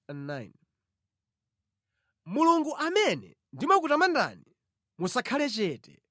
Mulungu amene ndimakutamandani, musakhale chete,